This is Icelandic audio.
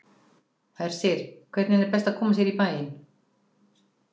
Hersir, hvernig er best að koma sér í bæinn?